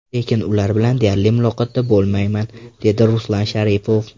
Lekin ular bilan deyarli muloqotda bo‘lmayman”, dedi Ruslan Sharipov.